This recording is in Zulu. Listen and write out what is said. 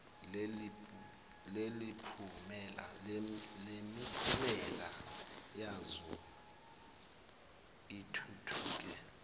lemiphumela yazo lithuthuke